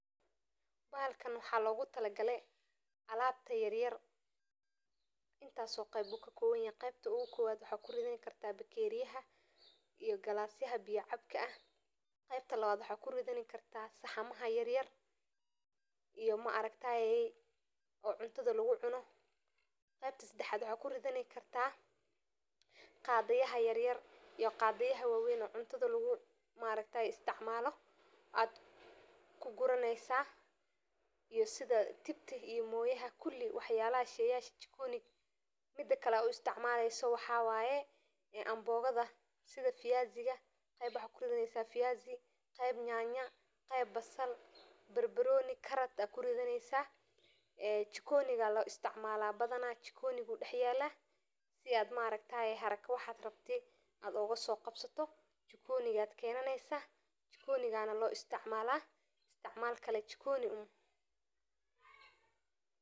Gudaha jikada, rakaabka jikadu wuxuu noqon karaa mid aad u muhiim u ah habaynta qalabka, sida qashin-qashinka, firaashyada, kubbadda, iyo waxyaabaha kale ee lagu kaydiyo, rakaabka jikadu wuxuu kuu ogolaanayaa inaad si fudud u hormariso meelaha adiga oo ka dhiganaya fursad ay ku wanaagsan tahay in lagu dhigo waxyaabaha aad badanaa isticmaasho, sida koobabka, bakooradaha, iyo waxyaabaha qalabka kuleylka, rakaabka jikadu wuxuu noqon karaa mid la samayn karo biraha, alwaaxa, ama plaatiska, waxaana jira noocyo kala duwan.